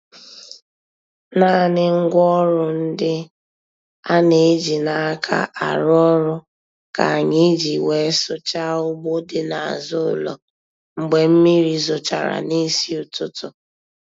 Naanị ngwaọrụ ndị a na-eji n'aka arụ ọrụ ka anyị ji wee sụchaa ugbo dị n'azụ ụlọ mgbe mmiri zochara nisi ụtụtụ.